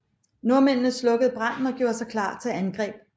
Nordmændene slukkede branden og gjorde sig klar til angreb